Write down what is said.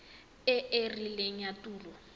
e e rileng ya tulo